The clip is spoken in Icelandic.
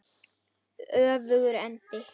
Öfugur endi.